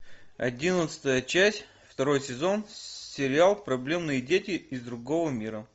одиннадцатая часть второй сезон сериал проблемные дети из другого мира